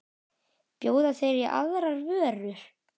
Bjóða þeir í aðrar vörur?